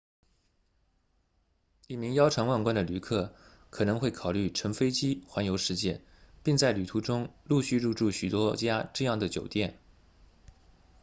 一名腰缠万贯的旅客可能会考虑乘飞机环游世界并在旅途中陆续入住许多家这样的酒店